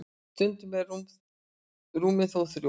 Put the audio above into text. stundum eru rúmin þó þrjú